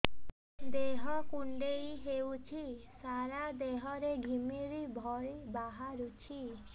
ଦେହ କୁଣ୍ଡେଇ ହେଉଛି ସାରା ଦେହ ରେ ଘିମିରି ଭଳି ବାହାରୁଛି